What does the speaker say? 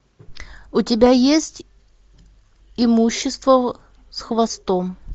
у тебя есть имущество с хвостом